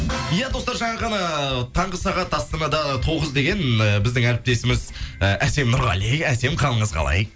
иә достар жаңа ғана таңғы сағат астанада тоғыз деген біздің әріптесіміз і әсем нұрғали әсем қалыңыз қалай